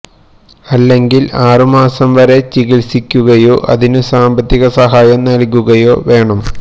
അല്ലെങ്കിൽ ആറു മാസം വരെ ചികിത്സിക്കുകയോ അതിനു സാമ്പത്തിക സഹായം നൽകുകയോ വേണം